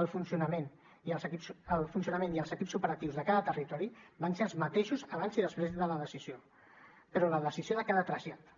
el funcionament i els equips operatius de cada territori van ser els mateixos abans i després de la decisió però la decisió de cada trasllat